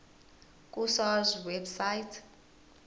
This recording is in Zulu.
ku sars website